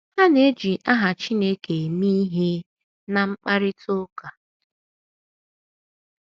Ha na - eji aha Chineke eme ihe ná mkparịta ụka ha.